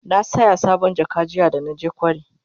na saya sabon jaka jiya da naje kwari